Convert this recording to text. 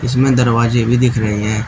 इसमें दरवाजे भी दिख रहे हैं।